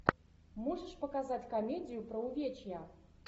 можешь показать комедию про увечья